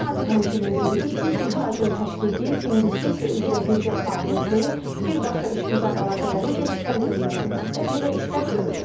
Nazir həmçinin qeyd edib ki, ixracın təşviqi, investisiya üzrə birgə fəaliyyətin, birbaşa işgüzar əlaqələrin genişləndirilməsi məqsədi ilə işlər görülür.